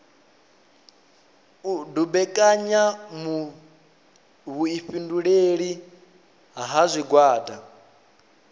u dumbekanya vhuifhinduleli ha zwigwada